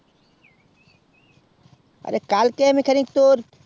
আরে কালকে আমি তোর